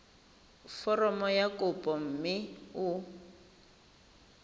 foromo ya kopo mme o